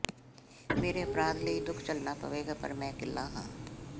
ਮੇਰੇ ਅਪਰਾਧ ਲਈ ਦੁੱਖ ਝੱਲਣਾ ਪਵੇਗਾ ਪਰ ਮੈਂ ਇਕੱਲਾ ਹਾਂ